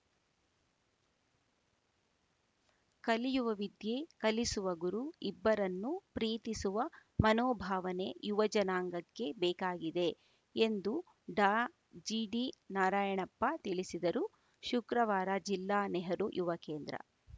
ಕಲಿಯುವ ವಿದ್ಯೆ ಕಲಿಸುವ ಗುರು ಇಬ್ಬರನ್ನು ಪ್ರೀತಿಸುವ ಮನೋಭಾವನೆ ಯುವ ಜನಾಂಗಕ್ಕೆ ಬೇಕಾಗಿದೆ ಎಂದು ಡಾಜಿಡಿ ನಾರಯಣಪ್ಪ ತಿಳಿಸಿದರು ಶುಕ್ರವಾರ ಜಿಲ್ಲಾ ನೆಹರು ಯುವ ಕೇಂದ್ರ